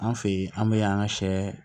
An fɛ yen an bɛ an ka sɛ